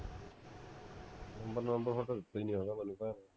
number ਦਿੱਤਾ ਹੀ ਨਹੀਂ ਹੈਗਾ ਮੈਨੂੰ ਤਾਂ